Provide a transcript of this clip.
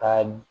Ka